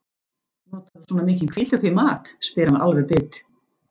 Notarðu svona mikinn hvítlauk í mat, spyr hann alveg bit.